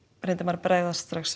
reyndi maður að bregðast